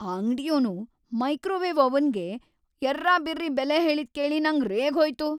ಆ ಅಂಗ್ಡಿಯೋನು ಮೈಕ್ರೋವೇವ್ ಓವನ್‌ಗೆ ಯರ್ರಾಬಿರ್ರಿ ಬೆಲೆ ಹೇಳಿದ್‌ ಕೇಳಿ ನಂಗ್‌ ರೇಗ್ಹೋಯ್ತು.